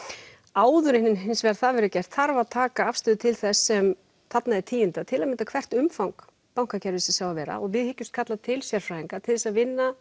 áður en það verður gert þarf að taka afstöðu til þess sem þarna er tíundað til að mynda hvert umfang bankakerfisins á að vera og við hyggjumst kalla til sérfræðinga til að vinna